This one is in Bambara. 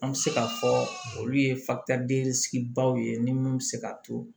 An bɛ se k'a fɔ olu ye baw ye ni mun bɛ se ka to